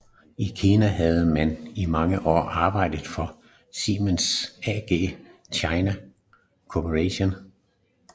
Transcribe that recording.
I Kina havde han i mange år arbejdet for Siemens AG China Corporation